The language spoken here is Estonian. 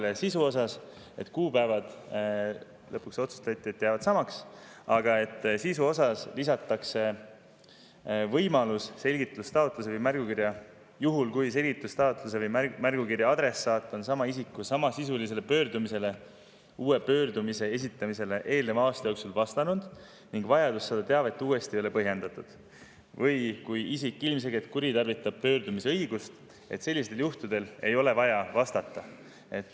Lõpuks otsustati, et jäävad samaks, aga sisu osas lisatakse võimalus, et juhul kui selgitustaotluse või märgukirja adressaat on sama isiku samasisulisele pöördumisele uue pöördumise esitamisele eelneva aasta jooksul vastanud ning vajadus saada teavet uuesti ei ole põhjendatud või kui isik ilmselgelt kuritarvitab pöördumise õigust, et ei ole vaja sellele vastata.